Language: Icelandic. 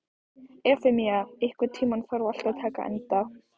Efemía, einhvern tímann þarf allt að taka enda.